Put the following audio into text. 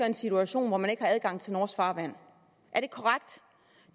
en situation hvor man ikke har adgang til norsk farvand